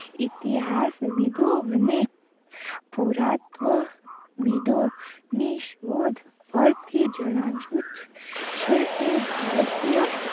ઇતિહાસ વિદો અને પુરાતવ વિદો ની શોધ પર થી જણાવાયું છે કે ભારતીય